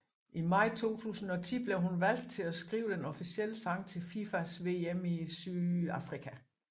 I maj 2010 blev hun valgt til at skrive den officielle sang til FIFAs VM i Sydafrika